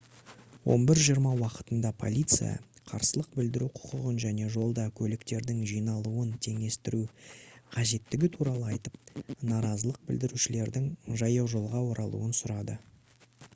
11:20 уақытында полиция қарсылық білдіру құқығын және жолда көліктердің жиналуын теңестіру қажеттігі туралы айтып наразылық білдірушілердің жаяужолға оралуын сұрады